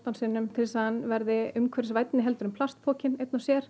sinnum til þess að hann verði umhverfisvænni en plastpokinn einn og sér